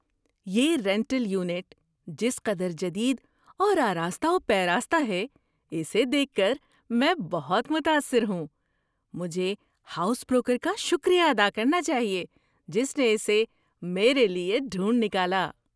یہ rental unit جس قدر جدید اور آراستہ و پیراستہ ہے، اسے دیکھ کر میں بہت متاثر ہوں! مجھے ہاؤس بروکر کا شکریہ ادا کرنا چاہیے جس نے اسے میرے لیے ڈھونڈ نکالا۔